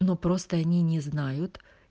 ну просто они не знают